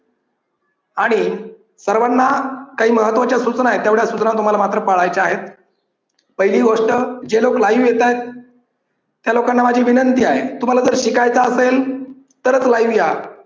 आणि सर्वांना काही महत्त्वाच्या सूचना आहेत तेवढ्या सूचना मात्र तुम्हाला पाळायच्या आहेत. पहिली गोष्ट जे लोक live येतायत त्या लोकांना माझी विनंती आहे. तुम्हाला जर शिकायचं असेल तरच live या